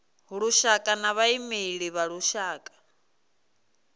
lushaka na vhaimeleli vha lushaka